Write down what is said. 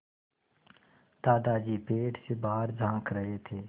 दादाजी पेड़ से बाहर झाँक रहे थे